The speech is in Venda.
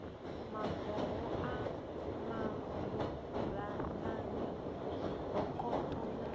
maboho a maburamani zwibokoṱo na